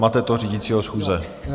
Mate to řídícího schůze.